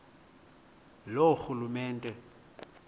loorhulumente